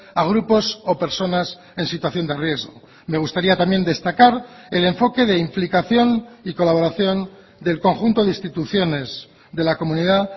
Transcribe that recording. a grupos o personas en situación de riesgo me gustaría también destacar el enfoque de implicación y colaboración del conjunto de instituciones de la comunidad